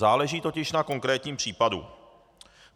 Záleží totiž na konkrétním případu.